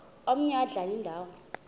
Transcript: omaye adlale indawo